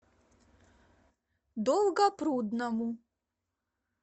долгопрудному